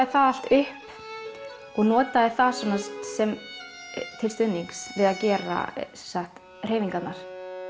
það allt upp og notaði það til stuðnings við að gera hreyfingarnar